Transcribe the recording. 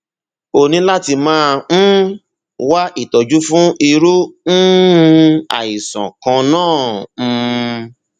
o ní láti máa um wá ìtọjú fún irú um um àìsàn kan náà um